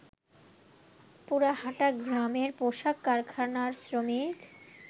পুরাহাটা গ্রামের পোশাক কারখানার শ্রমিক